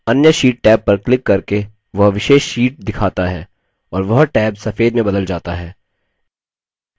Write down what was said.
अन्य sheet tab पर click करके वह विशेष sheet दिखाता है और वह टैब सफेद में बदल जाता है